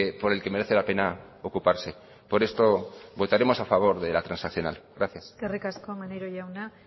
por el que merece la pena ocuparse por esto votaremos a favor de la transaccional gracias eskerrik asko maneiro jauna